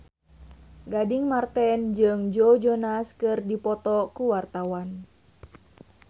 Gading Marten jeung Joe Jonas keur dipoto ku wartawan